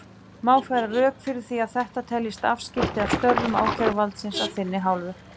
Má færa rök fyrir því að þetta teljist afskipti af störfum ákæruvaldsins af þinni hálfu?